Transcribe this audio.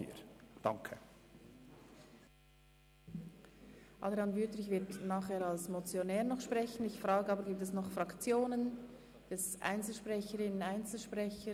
Gibt es noch Fraktionen beziehungsweise Einzelsprecherinnen oder Einzelsprecher, die sich äussern wollen?